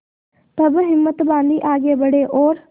तब हिम्मत बॉँधी आगे बड़े और